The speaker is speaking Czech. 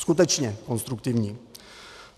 Skutečně konstruktivní.